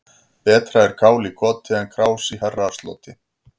Betra er kál í koti en krás í herrasloti.